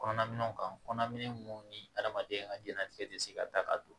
Kɔnɔna minɛnw kan kɔnɔna minɛn minnu ni adamaden ka diɲɛnatigɛ tɛ se ka da ka don